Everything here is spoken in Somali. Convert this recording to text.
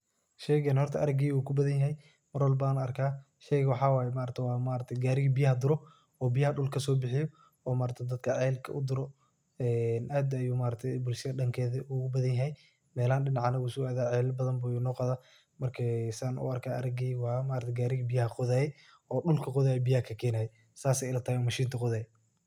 Sheygan horta mar walba an arka ,arageyga uu kubadan yahay sheyga waxa waye maaragtay gariga biyaha duro ,oo biyaha dhulka kasobixiyo oo maaragte dadka celka u duro ee aad bey bulshada dankeda ugu badan yahay melahan dinacanaga uu so adaa cel badan buu noo qodaa marka san u arkayo arageyga mxa waye gariga biyaha qodaye oo dhulka qodaye oo biyaha kakenaye sas ay ilatahay oo mashinta qodaye.